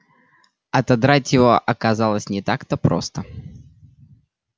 отодрать его оказалось не так-то просто